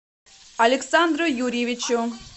александру юрьевичу